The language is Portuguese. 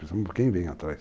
Pensamos em quem vem atrás.